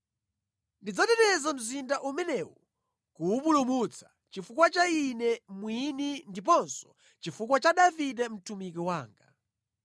Ndidzateteza mzinda umenewu kuwupulumutsa, chifukwa cha Ine mwini ndiponso chifukwa cha Davide mtumiki wanga.’ ”